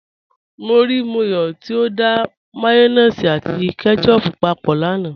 Mọ́ ríí Mọ́yọ̀ tí ó dá mayonnaise àti ketchup pápọ̀ lánà.